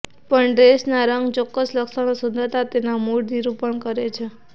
પણ ડ્રેસ ના રંગ ચોક્કસ લક્ષણો સુંદરતા તેના મૂડ નિરુપણ કરે છે